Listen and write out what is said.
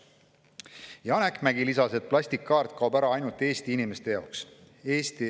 Janek Mägi lisas, et plastkaart kaob ära ainult Eesti inimeste jaoks.